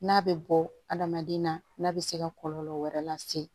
N'a bɛ bɔ hadamaden na n'a bɛ se ka kɔlɔlɔ wɛrɛ lase